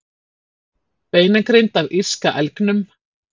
beinagrind af írska elgnum